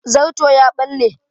Zarto ya ɓale